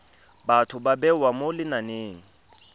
batho ba bewa mo lenaneng